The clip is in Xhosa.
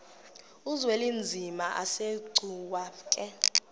uzwelinzima asegcuwa ke